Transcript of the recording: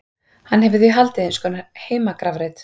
Hann hefur því haldið eins konar heimagrafreit.